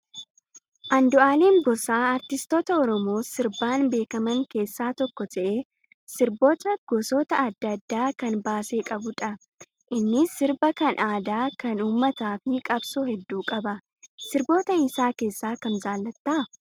Andu'alam Gosaa artistoota oromoo sirbaan beekaman keessaa tokko ta'ee sirboota gosoota adda addaa kan baasee qabudha. Innis sirba kan aadaa, kan uummataa fi qabsoo hedduu qaba. Sirboota isaa keessaa kam jaallattaa?